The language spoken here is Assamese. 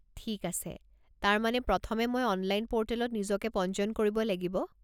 ঠিক আছে! তাৰ মানে, প্ৰথমে মই অনলাইন পৰ্টেলত নিজকে পঞ্জীয়ন কৰিব লাগিব।